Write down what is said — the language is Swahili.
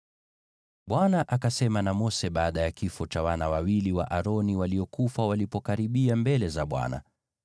Bwana akasema na Mose baada ya kifo cha wale wana wawili wa Aroni waliokufa walipokaribia mbele za Bwana .